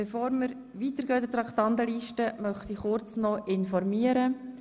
Bevor wir in der Traktandenliste weiterfahren, möchte ich kurz über Folgendes informieren: